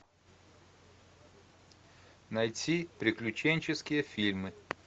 найти приключенческие фильмы